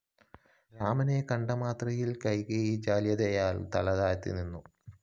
രാമനെ കണ്ടമാത്രയില്‍ കൈകേയി ജാള്യതയാല്‍ തലതാഴ്ത്തി നിന്നു